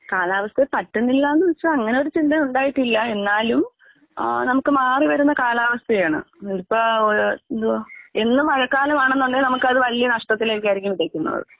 കാലാവസ്ഥ പറ്റുന്നില്ലാന്ന് വച്ചാ അങ്ങനെയൊരു ചിന്ത ഉണ്ടായിട്ടില്ല എന്നാലും ആഹ് നമുക്ക് മാറി വരുന്ന കാലാവസ്ഥയാണ്. ഇപ്പെ എന്തുവാ ഇന്ന് മഴക്കാലമാണെന്നുണ്ടെങ്കിൽ നമുക്കത് വല്യ നഷ്ടത്തിലേക്കായിരിക്കും വിതയ്ക്കുന്നത്.